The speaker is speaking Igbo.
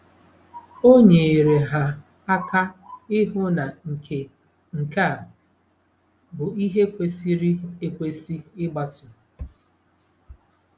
O nyeere ha aka ịhụ na nke nke a bụ ihe kwesịrị ekwesị ịgbaso. ”